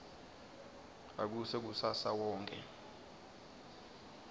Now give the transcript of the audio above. akuse kusasa wonkhe